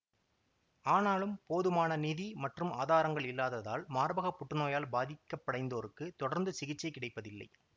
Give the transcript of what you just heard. ஆனாலும் போதுமான நிதி மற்றும் ஆதாரங்கள் இல்லாததால் மார்பக புற்றுநோயால் பாதிக்கபடைந்தோருக்கு தொடர்ந்து சிகிச்சை கிடைப்பதில்லை